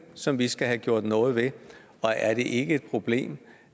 som vi skal have gjort noget ved og er det ikke et problem